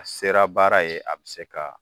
A sera baara ye a bɛ se ka